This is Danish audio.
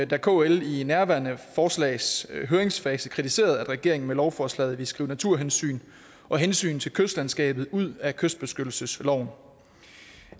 da kl i nærværende forslags høringsfase kritiserede at regeringen med lovforslaget ville skrive naturhensyn og hensyn til kystlandskabet ud af kystbeskyttelsesloven